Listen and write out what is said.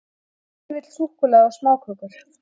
Hver vill súkkulaði og smákökur?